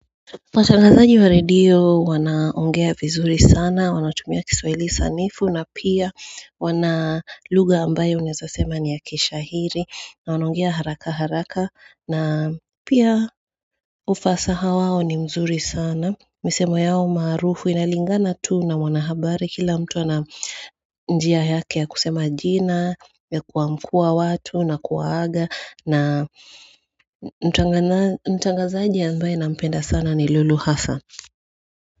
Watangazaji wa radio wanaongea vizuri sana, wanatumia kiswahli sanifu na pia wana lugha ambayo unizasema ni ya kishahiri na wanongea haraka haraka na pia ufasaha wao ni mzuri sana. Misemo yao marufu inalingana tu na wanahabari kila mtu ana njia yake ya kusema jina, ya kuamkua watu, na kuwaaga, na mtangazaji ya ambaye nampenda sana ni lulu hasa.